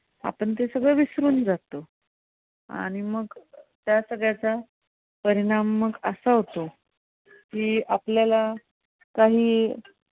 आपण ते सगळं विसरून जातो आणि मग त्यात सगळ्याचा परिणाम मग असा होतो की आपल्याला कांही